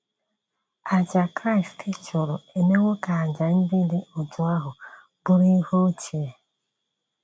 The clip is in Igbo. Àjà Kraịst chụrụ emewo ka àjà ndị dị otú ahụ bụrụ ihe ochie.